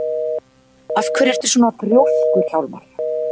Af hverju ertu svona þrjóskur, Hjálmar?